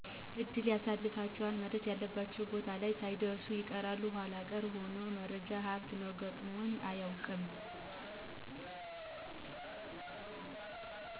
እድል ያሰልፋቸዋል መድረስ ያለባቸው ቦታ ላይ ሳይደርሱ ይቀራሉ ኃላ ቀረ ይሆናል መረጃ ሀብት ነው, ገጥሞኝ አያቀውቅም